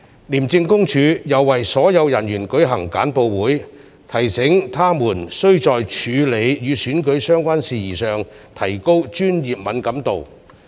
廉政公署又為所有人員舉行簡報會，提醒他們須在處理與選舉相關事宜上提高專業敏感度。